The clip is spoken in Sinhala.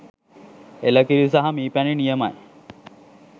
එල කිරි සහ මී පැණි නියමයි